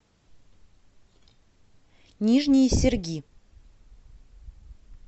нижние серги